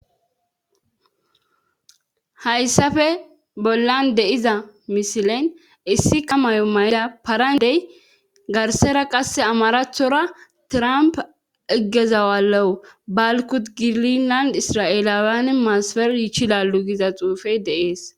Hayssafe bollan deiza misilen issi qamayo may7da parandey garsera qasse amarathora tramp eggezawaleu balkut giilinland isra7eeleawan maasaper yiichi lalu giza xuufey deees.